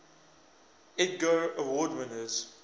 edgar award winners